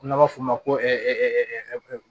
N'an b'a f'o ma ko